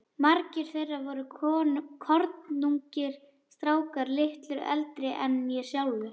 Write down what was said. Margir þeirra voru kornungir strákar, litlu eldri en ég sjálfur.